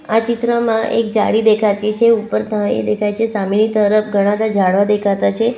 આ ચિત્રમાં એક જાળી દેખાતી છે ઉપર તરફ પાણી દેખાય છે સામેની તરફ ઘણા બધા ઝાડવા દેખાતા છે.